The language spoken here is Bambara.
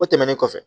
O tɛmɛnen kɔfɛ